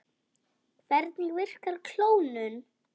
Hvernig virkar klónun?